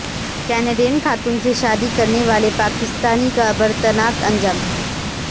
Canadian خاتون سے شادی کرنے والے پاکستانی کا عبرتناک انجام